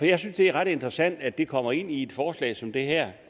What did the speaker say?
jeg synes det er ret interessant at det kommer ind i et forslag som det her